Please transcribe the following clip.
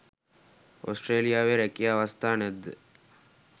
ඕස්ට්‍රේලියාවේ රැකියා අවස්ථා නැද්ද?